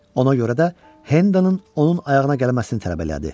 Ona görə də Hendonun onun ayağına gəlməsini tələb elədi.